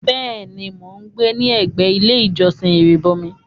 Bẹ́ẹ̀ ní, mò ń gbé ní ẹgbé ilé ìjọ̀sìn Ìrìbọ̀mi.